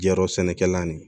Yɔrɔ sɛnɛkɛla nin